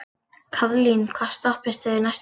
Kaðlín, hvaða stoppistöð er næst mér?